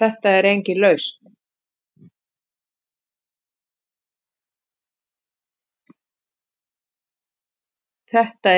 Þetta